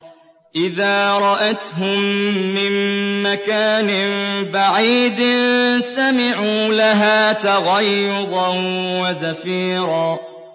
إِذَا رَأَتْهُم مِّن مَّكَانٍ بَعِيدٍ سَمِعُوا لَهَا تَغَيُّظًا وَزَفِيرًا